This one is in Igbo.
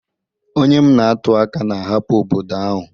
Onye m na-atụ aka na-ahapụ obodo ahụ